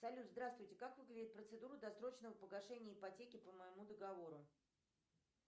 салют здравствуйте как выглядит процедура досрочного погашения ипотеки по моему договору